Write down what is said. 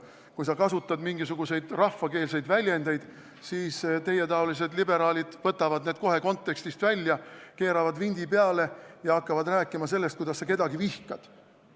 Kui sa kasutad mingisuguseid rahvakeelseid väljendeid, siis teietaolised liberaalid võtavad need kohe kontekstist välja, keeravad vindi peale ja hakkavad rääkima sellest, kuidas sa kedagi vihkad.